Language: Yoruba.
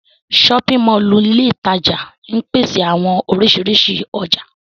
Ṣọpin Mọllu ile itaja ńpese awọn orisirisi ọja.